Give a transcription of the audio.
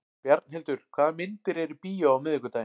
Bjarnhildur, hvaða myndir eru í bíó á miðvikudaginn?